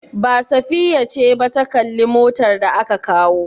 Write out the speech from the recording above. Ba, Safiya ce ba ta kalli motar da aka kawo.